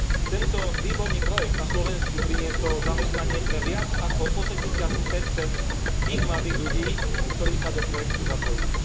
Tento výborný projekt na Slovensku priniesol zamestnanie pre viac ako 80 tých mladých ľudí, ktorí sa do projektu zapojili.